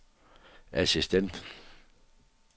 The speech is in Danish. assistent